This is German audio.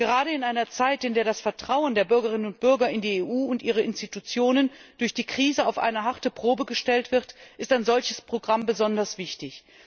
Gerade in einer Zeit, in der das Vertrauen der Bürgerinnen und Bürger in die EU und ihre Institutionen durch die Krise auf eine harte Probe gestellt wird, ist ein solches Programm besonders wichtig.